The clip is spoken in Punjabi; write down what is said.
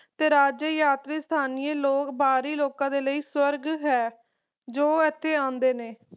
ਤੇ ਰਾਜ ਯਾਤਰੀ ਸਥਾਨੀ ਲੋਕ ਬਾਹਰੀ ਲੋਕਾਂ ਲਈ ਸਵਰਗ ਹੈ ਜੋ ਇਥੇ ਆਉਂਦੇ ਨੇ